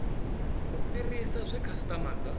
u fhirisa zwe khasitama dza